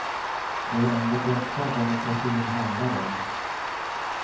Det är ändå detta demokratin handlar om.